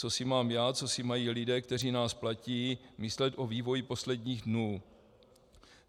Co si mám já, co si mají lidé, kteří nás platí, myslet o vývoji posledních dnů?